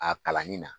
A kalanni na